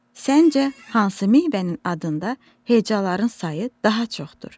Səncə hansı meyvənin adında hecaların sayı daha çoxdur?